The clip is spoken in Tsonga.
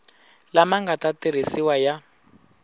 lama nga ta tirhisiwa ya